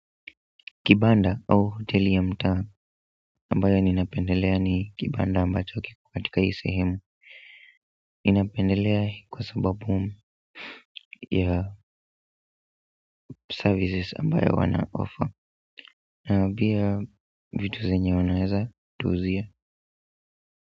Kibanda au hoteli ya mtaa ambayo ninapendelea ni kibanda ambacho kiko katika hii sehemu ninapendelea kwa sababu ya services ambayo wana offer na pia vitu zenye wanaeza tuuzia.